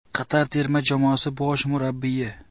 Qatar terma jamoasi bosh murabbiyi.